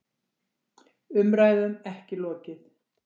Umræðum ekki lokið